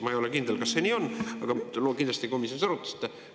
Ma ei ole kindel, kas see nii on, aga te kindlasti komisjonis arutasite.